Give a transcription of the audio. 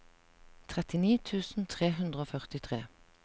trettini tusen tre hundre og førtitre